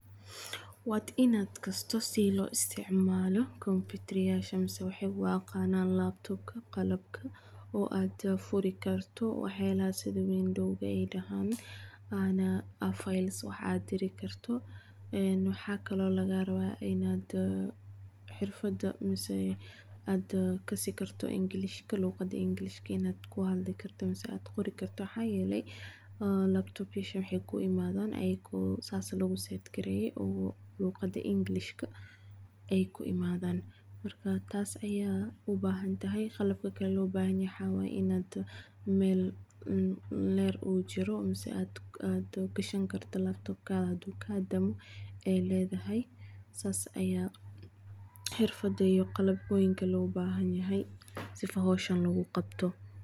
Wad inad gasito side lo isticmalo computeryashan masah waxay u yaqananan laptop qalabka oo ad furikarto waxa yalah side wan logahi wax waye, files wax adirkarto wax kle laga rabii ina xirfada ad kasi kartoh engliska luqada englishka ina ku hadli karto masah ad qori karto maxa yale laptop yasha waxay ku ii imadan ayako saas lagu sadgariya oo luqada englishka, ay ku imadan marka taas aya ubahantahay ina qalbka kali lo baxanyahay wax. Waya in mal ujiro masah ad gashin kartoh laptopka hadu ka damo aa ladahay saas aya xirfada iyo qalbka logu baxanyahay sifo xoshan logu qabtoh.